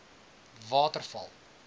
waterval